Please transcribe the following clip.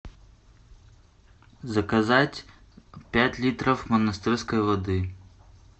заказать пять литров монастырской воды